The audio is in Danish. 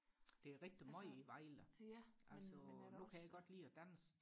der er rigtig meget i Vejle altså nu kan jeg godt lide og danse